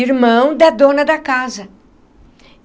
Irmão da dona da casa.